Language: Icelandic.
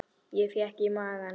Ég fékk í magann.